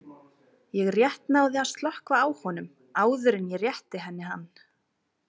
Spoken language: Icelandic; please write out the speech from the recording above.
Ég rétt náði að slökkva á honum áður en ég rétti henni hann.